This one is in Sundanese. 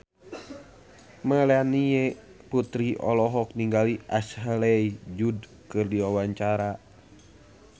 Melanie Putri olohok ningali Ashley Judd keur diwawancara